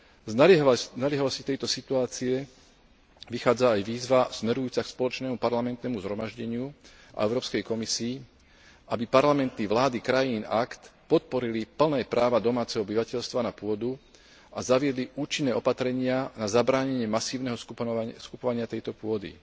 Z naliehavosti tejto situácie vychádza aj výzva smerujúca k Spoločnému parlamentnému zhromaždeniu a Európskej komisii, aby parlamenty a vlády krajín AKT podporili plné práva domáceho obyvateľstva na pôdu a zaviedli účinné opatrenia na zabránenie masívnemu skupovaniu tejto pôdy.